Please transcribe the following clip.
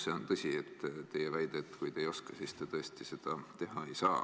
See on muidugi tõsi – teie väide, et kui ta ei oska, siis ta seda teha ei saa.